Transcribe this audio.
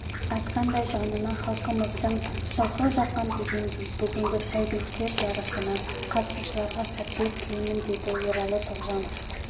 айтқандай жанына халқымыздың жылқы жаққан дегендей бүгінгі сәйгүліктер жарысына қатысушыларға сәттілік тілеймін деді ералы тоғжанов